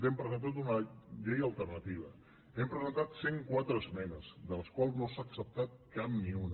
hem presentat una llei alternativa hem presentat cent i quatre esmenes de les quals no se n’ha acceptat cap ni una